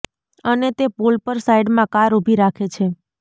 અને તે પુલ પર સાઇડમાં કાર ઉભી રાખે છે